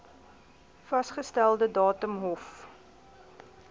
vasgestelde datum hof